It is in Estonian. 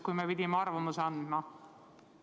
Siis me pidime oma arvamuse andma.